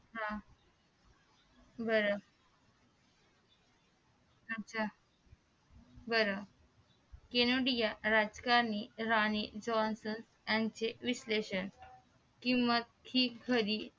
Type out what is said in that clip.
हा बर अच्छा बर केनोडिया राजकारणी राणी जॉन्सन याचे विश्लेषण किंवा ती खरी राणी